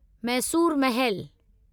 Mysore Mahal